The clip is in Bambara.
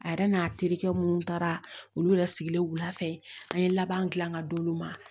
A yɛrɛ n'a terikɛ minnu taara olu yɛrɛ sigilen wula fɛ an ye laban gilan ka d'olu ma